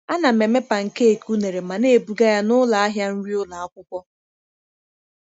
Ana m eme pancakes unere ma na-ebuga ya n’ụlọ ahịa nri ụlọ akwụkwọ.